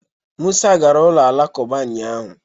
Musa gara ụlọ alakụba ụnyahụ